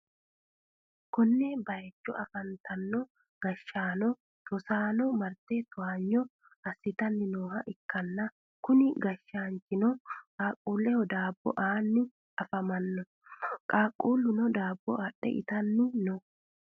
konne bayicho afantino gashshaano rosaano marte towaanyo assitanni nooha ikkanna, kuni gashsaanchino qaaqqullehodaabbo aanni afamanno. qaaqqulluno daabbo adhite ittanni no.